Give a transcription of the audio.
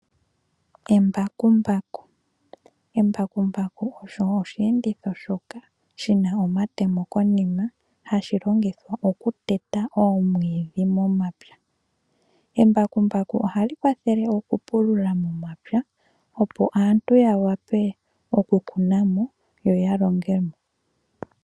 Embakumbaku olyo oshiyenditho shoka shina omatemo konima hashi longithwa okuteta oomwidhi momapya. Embakumbaku ohali kwathele okupulula momapya opo aantu yawape okukuna mo yoya longemo.